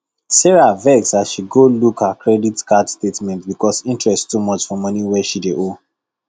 sarah vex as she go look her credit card statement because interest too much for money she dey owe